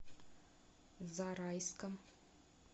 зарайском